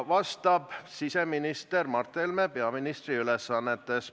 Vastab siseminister Mart Helme peaministri ülesannetes.